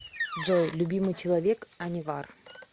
джой любимый человек анивар